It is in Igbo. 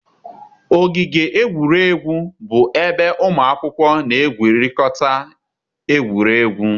Ogige egwuregwu bụ ebe ụmụ akwụkwọ na-egwurịkọta egwuregwu.